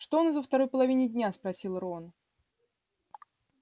что у нас во второй половине дня спросил рон